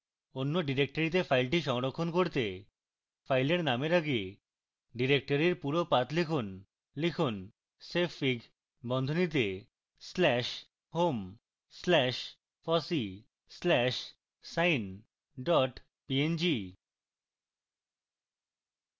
অন্য ডিরেক্টরীতে file সংরক্ষণ করতে file নামের আগে ডিরেক্টরীর পুরো path লিখুন